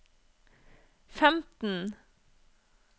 femten